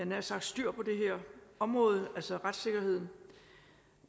nær sagt styr på det her område altså retssikkerheden